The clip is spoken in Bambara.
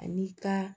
Ani ka